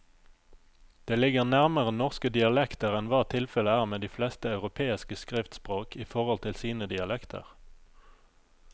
Det ligger nærmere norske dialekter enn hva tilfellet er med de fleste europeiske skriftspråk i forhold til sine dialekter.